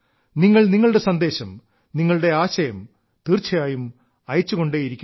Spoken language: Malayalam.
നിങ്ങൾ നിങ്ങളുടെ സന്ദേശം നിങ്ങളുടെ ആശയം തീർച്ചയായും അയച്ചുകൊണ്ടേയിരിക്കുക